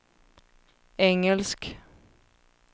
engelsk